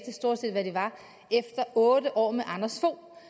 de stort set var efter otte år med anders fogh